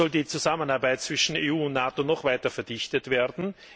Es soll die Zusammenarbeit zwischen EU und NATO noch weiter verdichtet werden.